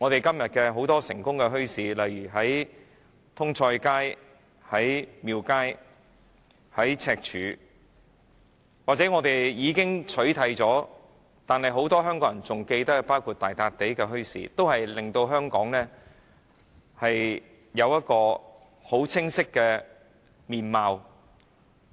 今天很多成功的墟市，例如通菜街、廟街和赤柱，又或是已經不存在但很多香港人仍然記得的大笪地墟市，均清晰地將香港市民的精神面貌呈現出来。